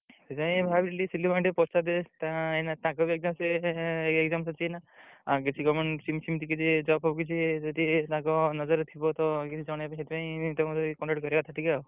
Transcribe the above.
ସେଇଥିପାଇଁ ଭାବିଲି ସିଲୁ ଭାଇଙ୍କି ଟିକେ ପଚାରି ଦିଏ ଏଇନା ତାଙ୍କର ବି ସିଏ exam ସରିଚି ଏଇନା ଆଉ ସେମିତି କିଛି job କିଛି job ଫବ କିଛି ତାଙ୍କ ନଜର୍ ରେ ଥିବ ତ କିଛି ଜଣେଇବେ ସେଥି ପାଇଁ contact କରିଆ କଥା ଟିକେ ଆଉ।